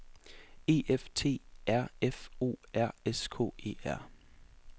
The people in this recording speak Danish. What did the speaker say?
E F T E R F O R S K E R